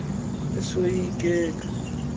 utheni maan esoyikeka